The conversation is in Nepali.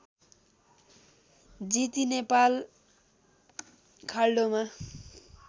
जिती नेपाल खाल्डोमा